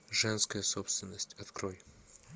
женская собственность открой